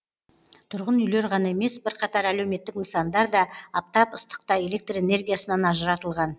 тұрғын үйлер ғана емес бірқатар әлеуметтік нысандар да аптап ыстықта электр энергиясынан ажыратылған